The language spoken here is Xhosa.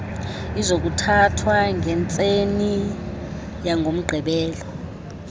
izokuthathwa ngentseni yangomgqibelo